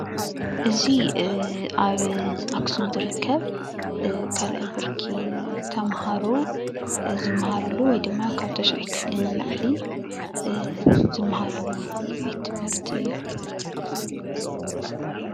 እዚ ኣብ ኣክሱም ዝርከብ 2ይ ብርኪ ተምሃሮ ዝመሃርሉ ወይ ድማ ካብ 9ይ ክፍሊ ንላዕሊ ዝመሃርሉ ቤት ትምህርቲ እዩ፡፡